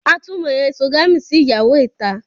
A tún mo ẹ̀sogami sí ìyàwó ìta